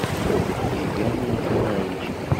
ильгаме николаевиче